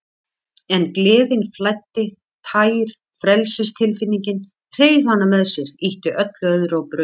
En gleðin flæddi, tær frelsistilfinningin, hreif hana með sér, ýtti öllu öðru á braut.